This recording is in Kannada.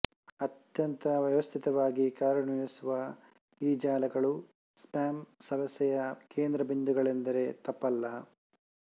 ಅತ್ಯಂತ ವ್ಯವಸ್ಥಿತವಾಗಿ ಕಾರ್ಯನಿರ್ವಹಿಸುವ ಈ ಜಾಲಗಳು ಸ್ಪಾಮ್ ಸಮಸ್ಯೆಯ ಕೇಂದ್ರಬಿಂದುಗಳೆಂದರೆ ತಪ್ಪಲ್ಲ